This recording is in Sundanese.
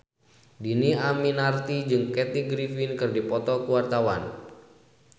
Dhini Aminarti jeung Kathy Griffin keur dipoto ku wartawan